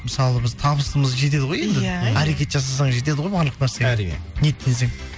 мысалы біз табысымыз жетеді ғой енді иә әрекет жасасаң жетеді ғой барлық нәрсеге әрине ниеттенсең